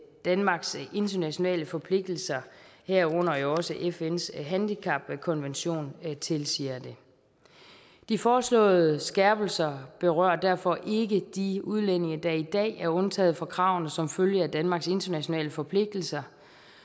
danmarks internationale forpligtelser herunder også fns handicapkonvention tilsiger det de foreslåede skærpelser berører derfor ikke de udlændinge der i dag er undtaget fra kravene som følge af danmarks internationale forpligtelser